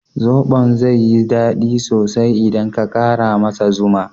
Zoɓon zai yi dadi sosai idan ka ƙara masa zuma.